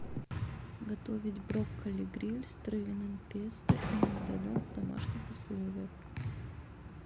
готовить брокколи гриль с травяным песто и миндалем в домашних условиях